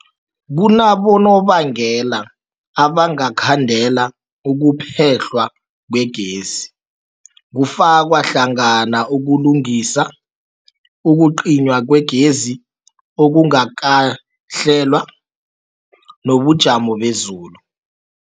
Kunabonobangela abangakhandela ukuphehlwa kwegezi, kufaka hlangana ukulungisa, ukucinywa kwegezi okungakahlelwa, nobujamo bezulu.